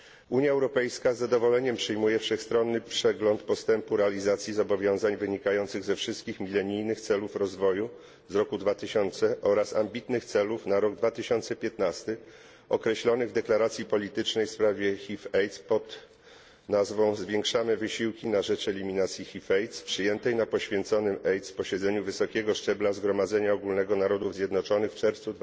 Unia Europejska z zadowoleniem przyjmuje wszechstronny przegląd postępu realizacji zobowiązań wynikających ze wszystkich milenijnych celów rozwoju z roku 2000 oraz ambitnych celów na rok 2015 określonych w deklaracji politycznej w sprawie HIV AIDS pod nazwą Zwiększamy wysiłki na rzecz eliminacji HIV AIDS przyjętej na poświęconym AIDS posiedzeniu wysokiego szczebla Zgromadzenia Ogólnego Narodów Zjednoczonych w czerwcu